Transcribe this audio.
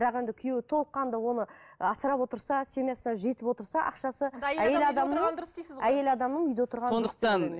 бірақ енді күйеуі толыққанды оны асырап отырса семьясына жетіп отырса ақшасы әйел адамның әйел адамның үйде отырғаны дұрыс